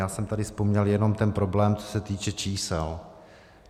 Já jsem tady vzpomněl jenom ten problém, co se týče čísel.